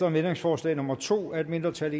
om ændringsforslag nummer to af et mindretal